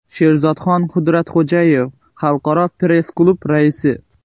Sherzodxon Qudratxo‘jayev, Xalqaro press-klub raisi.